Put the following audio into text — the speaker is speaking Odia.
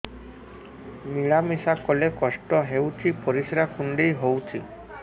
ମିଳା ମିଶା କଲେ କଷ୍ଟ ହେଉଚି ପରିସ୍ରା କୁଣ୍ଡେଇ ହଉଚି